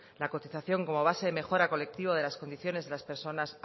la cotización como base de mejora colectiva de las condiciones de las personas